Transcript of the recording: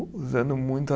Usando muito a